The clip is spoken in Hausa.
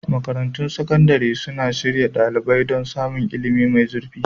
Makarantun sakandare suna shirya ɗalibai don samun ilimi mai zurfi.